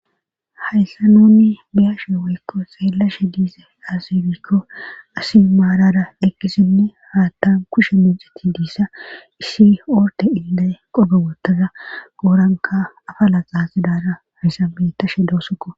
hayssanoonni biyashe wiikko xeelashe diise aasebiikko asi maarara eqqisinne haattan kushe minxiti diissa issi oorte ilda qobe wottaza qooranka afa laqaasidaara hayssabetashe doosoko